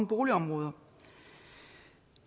boligområder